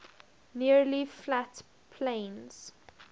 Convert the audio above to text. nearly flat plains